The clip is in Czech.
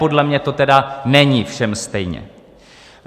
Podle mě to teda není všem stejně.